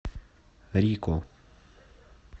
рико